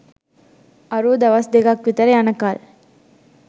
අරූ දවස් දෙකක් විතර යනකල්